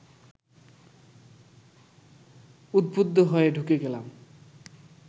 উদ্বুদ্ধ হয়ে ঢুকে গেলাম